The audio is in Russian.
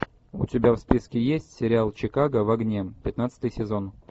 у тебя в списке есть сериал чикаго в огне пятнадцатый сезон